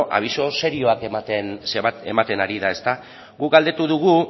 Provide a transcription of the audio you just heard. abisu serioak ematen ari da guk galdetu dugu